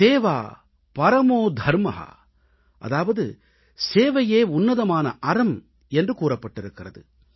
சேவா பரமோ தரம் அதாவது சேவையே உன்னதமான அறம் என்று கூறப்பட்டிருக்கிறது